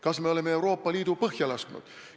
Kas me oleme Euroopa Liidu põhja lasknud?